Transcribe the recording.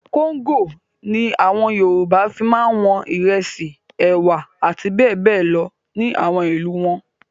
Kóńgò ni àwọn Yorùbá fi máa wọn ìrẹsì, ẹ̀wà àti bẹ́ẹ̀ bẹ́ẹ̀ lọ ní àwọn ìlú wọn.